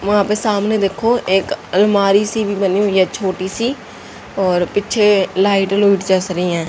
वहां पर सामने देखो एक अलमारी सी भी बनी हुई है छोटी सी और पीछे लाइट लूइट जस रही हैं।